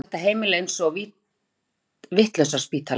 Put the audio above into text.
Þá er þetta heimili eins og vitlausraspítali.